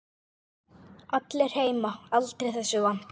Allir heima aldrei þessu vant.